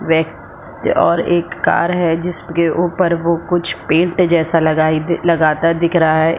व और एक कार है जिसके ऊपर कुछ पैंट लगाई जैसे लगाता दिख रहा है।